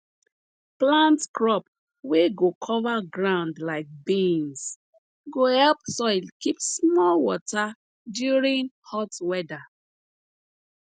plant crop wey go cover ground like beans go help soil keep small water during hot weather